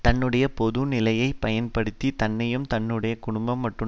தன்னுடைய பொது நிலையை பயன்படுத்தித் தன்னையும் தன்னுடைய குடும்பம் மற்றும்